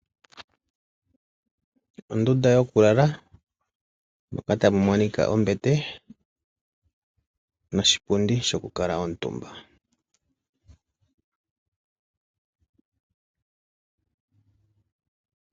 Ondunda yokulala, moka tamu monika ombete, noshipundi shokukala omutumba.